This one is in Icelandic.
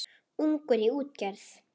Ungur í útgerð